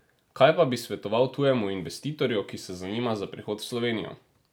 Kaj pa bi svetoval tujemu investitorju, ki se zanima za prihod v Slovenijo?